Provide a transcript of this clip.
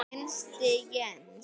Hinsti sjens.